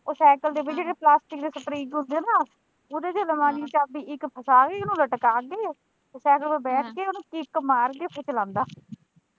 ਉਹ ਸਾਇਕਲ ਦੇ ਵਿੱਚ ਪਲਾਸਟਿਕ ਦੇ ਸਪ੍ਰਿੰਗ ਹੁੰਦੇ ਹੈ ਨਾ ਉਹਦੇ ਵਿੱਚ ਅਲਮਾਰੀ ਦੀ ਚਾਬੀ ਇੱਕ ਫਸਾ ਕੇ ਇਹਨੂੰ ਲਟਕਾ ਤੇ ਸਾਇਕਲ ਤੇ ਬੈਠ ਕੇ ਇਹਨੂੰ ਕਿੱਕ ਮਾਰ ਕੇ ਫਿਰ ਚਲਾਉਂਦਾ।